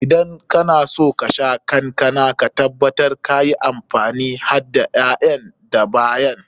Idan kana son ka sha kankana, ka tabbatar ka yi amfani hadda ƴaƴan da bayan.